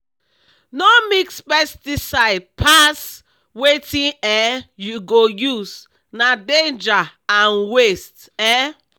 no mix pesticide pass wetin um you go use—na danger and waste. um